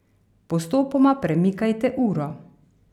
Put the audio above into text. Postopoma premikajte uro.